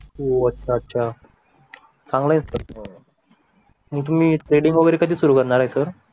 हो अच्छा अच्छा चांगला आहे ना मग तुम्ही ट्रेडिंग वगैरे कधी सुरू करणार आहे सर